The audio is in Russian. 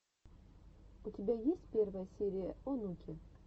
у тебя есть первая серия онуки